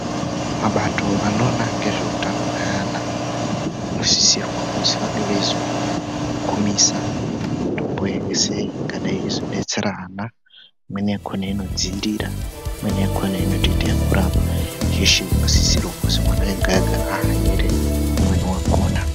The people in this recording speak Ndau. Mabato anoona ngezveutano hweeana anosisirwa kuti vange veizo kumisa tomboyi sei ingadai yeizodetsere ana imweni yakhona inodziirira imweni yakhona inotoite yekurapa yeshe inotosisirwe kuzi munhu wega ega ahanire umweni wakhona.